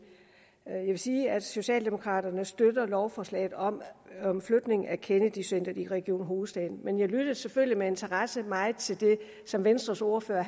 jeg vil sige at socialdemokraterne støtter lovforslaget om om flytning af kennedy centret til region hovedstaden men jeg lyttede selvfølgelig med interesse meget til det som venstres ordfører